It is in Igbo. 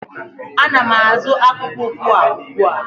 Ana m azụ akpụkpọ ụkwụ a ugbu a.